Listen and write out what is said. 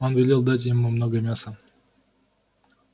он велел дать ему много мяса